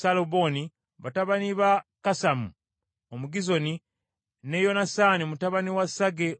batabani ba Kasamu Omugizoni, ne Yonasaani mutabani wa Sage Omukalali;